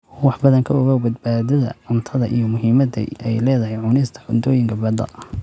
wax badan ka ogow badbaadada cuntada iyo muhiimada ay leedahay cunista cuntooyinka badda.